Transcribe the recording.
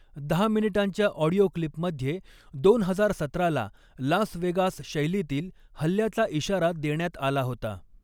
दहा मिनिटांच्या ऑडिओ क्लिपमध्ये दोन हजार सतराला लास वेगास शैलीतील हल्ल्याचा इशारा देण्यात आला होता.